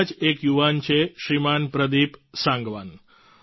એવા જ એક યુવાન છે શ્રીમાન પ્રદિપ સાંગવાન